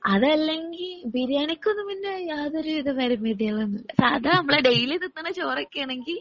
അതല്ലെങ്കി ബിരിയാണിക്കൊന്നും പിന്നെ യാതൊരു പരിമിതികളൊന്നുമില്ലാ സാധാ നമ്മളെ ഡെയിലി തിന്നണ ചോറൊക്കെ ആണെങ്കി